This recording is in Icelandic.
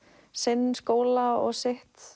sinn skóla og sitt